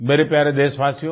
मेरे प्यारे देशवासियो